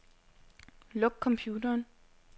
Luk computeren.